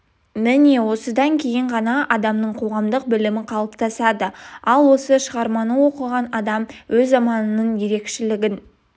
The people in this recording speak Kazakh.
міне осыдан кейін ғана адамның қоғамдық білімі қалыптасады ал осы шығарманы оқыған адам өз заманының ерекшелігін